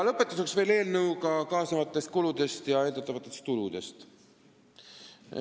Lõpetuseks veel eelnõuga kaasnevatest kuludest ja eeldatavatest tuludest.